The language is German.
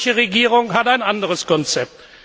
Die polnische Regierung hat ein anderes Konzept.